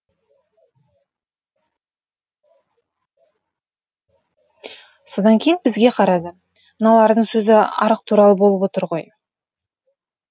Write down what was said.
содан кейін бізге қарады мыналардың сөзі арақ туралы болып отыр ғой